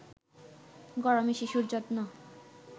গরমে শিশুর যত্ন